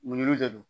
Mun de don